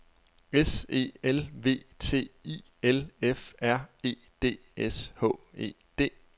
S E L V T I L F R E D S H E D